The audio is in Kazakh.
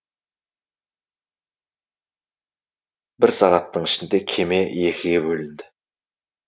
бір сағаттың ішінде кеме екіге бөлінді